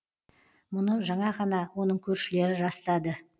мұны жаңа ғана оның көршілері растады